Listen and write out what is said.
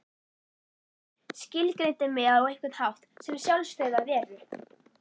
Skilgreindi mig á einhvern hátt sem sjálfstæða veru.